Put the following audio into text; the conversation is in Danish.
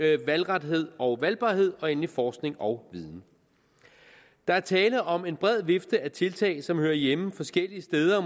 er det valgrethed og valgbarhed og endelig forskning og viden der er tale om en bred vifte af tiltag som hører hjemme forskellige steder og